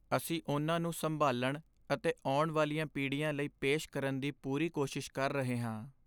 ਅਸੀਂ ਉਨ੍ਹਾਂ ਨੂੰ ਸੰਭਾਲਣ ਅਤੇ ਆਉਣ ਵਾਲੀਆਂ ਪੀੜ੍ਹੀਆਂ ਲਈ ਪੇਸ਼ ਕਰਨ ਦੀ ਪੂਰੀ ਕੋਸ਼ਿਸ਼ ਕਰ ਰਹੇ ਹਾਂ।